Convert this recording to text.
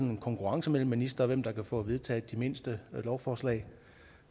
en konkurrence mellem ministrene om hvem der kan få vedtaget det mindste lovforslag